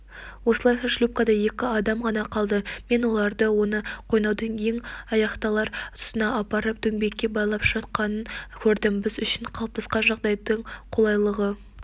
осылайша шлюпкада екі адам ғана қалды мен олардың оны қойнаудың ең аяқталар тұсына апарып дөңбекке байлап жатқанын көрдім біз үшін қалыптасқан жағдайдың қолайлылығы